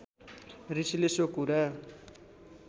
ऋषिले सो कुरा